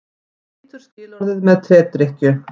Brýtur skilorðið með tedrykkju